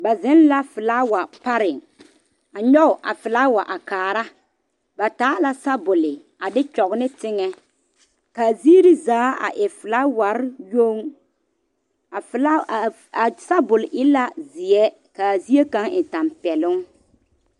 Ba zeŋ la filaawa pare a nyoŋ a filaawa a kaare ba taa la sabule a de kyɔŋ ne teŋa kaa ziiri zaa e filaaware yoŋ a filaawa a sabul e la ziɛ kaa zie kaŋa e tanpɛloŋ.